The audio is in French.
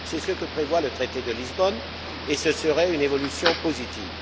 C'est ce que prévoit le traité de Lisbonne et ce serait une évolution positive.